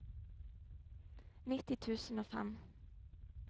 nitti tusen og fem